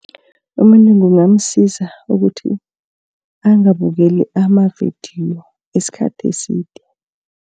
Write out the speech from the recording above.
Umuntu kungamsiza ukuthi angabukeli amavidiyo isikhathi eside.